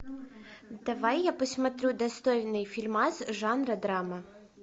давай я посмотрю достойный фильмас жанра драма